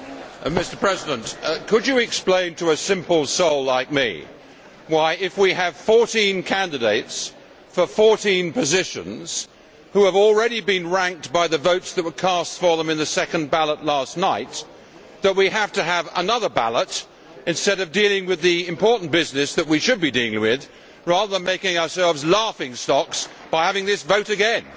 Mr President, could you explain to a simple soul like me why, if we have 14 candidates for 14 positions, who have already been ranked by the votes that were cast for them in the second ballot last night, we have to have another ballot instead of dealing with the important business that we should be dealing with, rather than making ourselves laughing stocks by having this vote again?